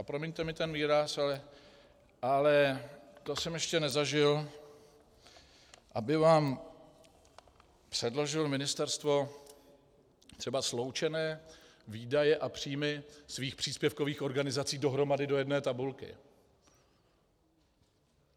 A promiňte mi ten výraz, ale to jsem ještě nezažil, aby vám předložilo ministerstvo třeba sloučené výdaje a příjmy svých příspěvkových organizací dohromady do jedné tabulky.